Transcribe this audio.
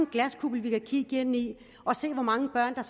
en glaskugle vi kan kigge ind i og se hvor mange børn